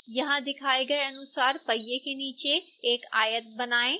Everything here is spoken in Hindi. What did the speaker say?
यहाँ दिखाए गए अनुसार पहिए के नीचे एक आयत बनाएँ